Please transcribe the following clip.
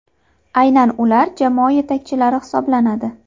Aynan ular jamoa yetakchilari hisoblanadi.